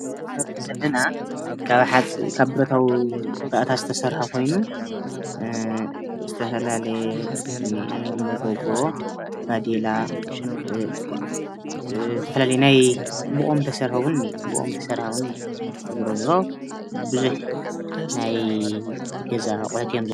እዚ ምስሊ ንሪኦ ዘለና በረታዊ ባእታ ዝተሰርሐ ኮይኑ ዝተፈላለየ መጎጎ ባዴላ ዝተፈላለየ ናይ ብኦም ዝተሰርሐ እውነ እኒሄ ዝሮዝሮ ቡዝሕ ናይ ገዛ አቝሑት እዮም ኢና ንሪኢ ዘለና።